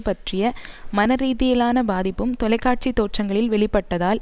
பற்றிய மனரீதியிலான பாதிப்பும் தொலை காட்சி தோற்றங்களில் வெளிப்பட்டதால்